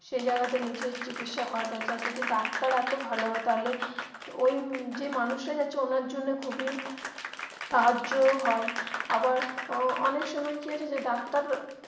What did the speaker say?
সেই জায়গা তে নিজের চিকিৎসা করতে যাচ্ছে যদি ডাক্তার এতো ভালো হয় তাহলে ওই যে মানুষটা যাচ্ছে ওনার জন্য খুবই সাহায্য হয় আবার আহ অনেক সময় কি হয় যে ডাক্তার.